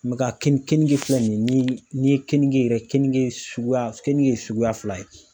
ka keninge keninge filɛ nin ni n'i ye kenige yɛrɛ keninge suguya keninge suguya ye fila ye